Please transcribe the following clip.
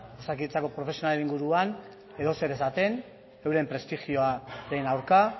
osakidetzako profesionalen inguruan edozer esaten euren prestigioaren aurka